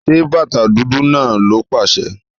Ṣẹ bátà dúdú náà, ló paṣẹ̀!